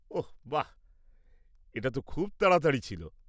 ওহ, বাহ, এটা তো খুব তাড়াতাড়ি ছিল!